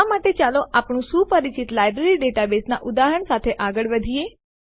આ માટે ચાલો આપણા સુપરિચિત લાઈબ્રેરી ડેટાબેઝનાં ઉદાહરણ સાથે આગળ વધીએ